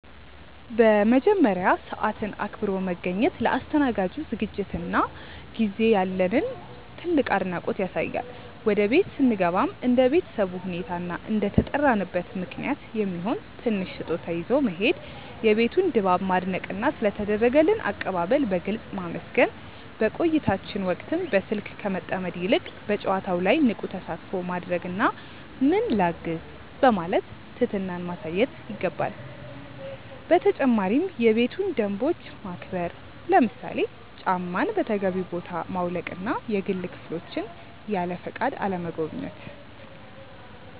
በመጀመሪያ፣ ሰዓትን አክብሮ መገኘት ለአስተናጋጁ ዝግጅትና ጊዜ ያለንን ትልቅ አድናቆት ያሳያል። ወደ ቤት ስንገባም እንደ ቤተሰቡ ሁኔታ እና እንደተጠራንበት ምክንያት የሚሆን ትንሽ ስጦታ ይዞ መሄድ፣ የቤቱን ድባብ ማድነቅና ስለ ተደረገልን አቀባበል በግልጽ ማመስገን። በቆይታችን ወቅትም በስልክ ከመጠመድ ይልቅ በጨዋታው ላይ ንቁ ተሳትፎ ማድረግና "ምን ላግዝ?" በማለት ትህትናን ማሳየት ይገባል። በተጨማሪም የቤቱን ደንቦች ማክበር፣ ለምሳሌ ጫማን በተገቢው ቦታ ማውለቅና የግል ክፍሎችን ያለፈቃድ አለመጎብኘት።